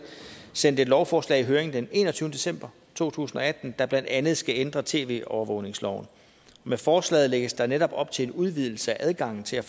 sendt et lovforslag i høring den enogtyvende december to tusind og atten der blandt andet skal ændre tv overvågningsloven med forslaget lægges der er netop op til en udvidelse af adgangen til